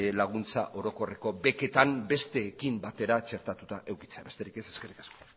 laguntza orokorreko beketan besteekin batera txertatua edukitzea besterik ez eskerrik asko